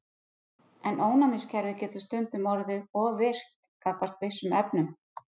En ónæmiskerfið getur stundum orðið of virkt gagnvart vissum efnum.